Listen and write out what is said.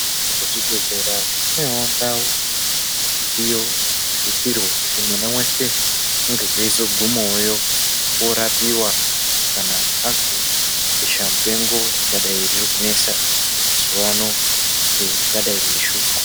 Kuzvibhedhlera kunewo ndau iyo inosisirwe kuti mwana weshe ange eizogumeyo orapiwa kana azwe besha mupengo ringadai riri kunesa mazuwano, ringadai riri kushupa.